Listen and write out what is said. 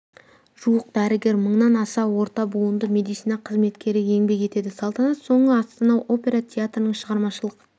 жуық дәрігер мыңнан аса орта буынды медицина қызметкері еңбек етеді салтанат соңы астана опера театрының шығармашылық